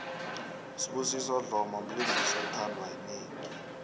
usibusiso dlomo mlingisi othandwa yinengi